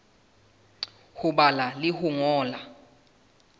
ho bala le ho ngola